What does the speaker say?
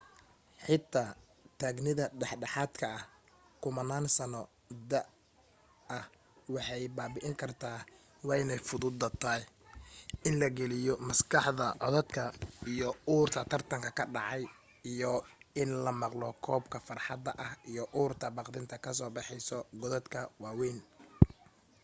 xitaa taagnida dhexdhexaadka ah kumanaan sano da'ah waxay babi'in karta waa ay fududa tahay in la geliyo maskaxdaada codadka iyo urta tartan ka dhacay iyo in la maqlo qoobka fardaha iyo urta baqdinta ka soo baxeysa godadka waa weyn